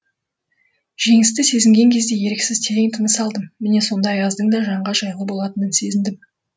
жеңісті сезінген кезде еріксіз терең тыныс алдым міне сонда аяздың да жанға жайлы болатынын сезіндім